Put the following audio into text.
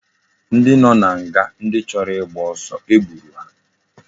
Ndi no na nga ndi choro igba osu egburu ha